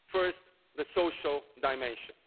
First, the social dimension.